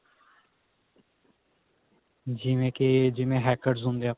ਜਿਵੇਂ ਕੀ ਜਿਵੇ hackers ਹੁੰਦੇ ਆ